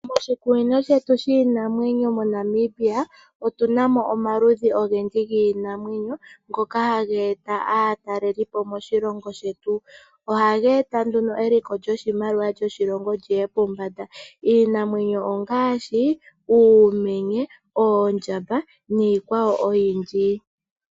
Moshikunino shetu shiinamwenyo moNamimbia otunamo omaludhi ogendji giinamwenyo ngoka hageeta aatalelipo moshilongo shetu. Ohageeta nduno eliko lyoshimaliwa lyoshilongo lyiye pombanda iinamwenyo ongaashi: uumenye, oondjamba niikwawo oyindji.